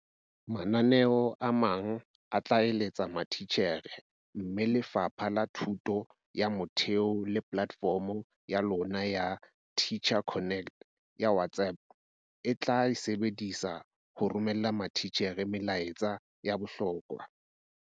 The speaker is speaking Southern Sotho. Mananeo a mang a tla eletsa matitjhere mme Lefapha la Thuto ya Motheo le polatefomo ya lona ya Teacher Connect ya WhatsApp le tla e sebedisa ho romella matitjhere melaetsa ya bohlokwa.